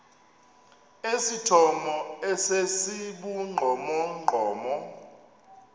esithomo esi sibugqomogqomo